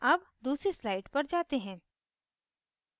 अब दूसरी slide पर जाते हैं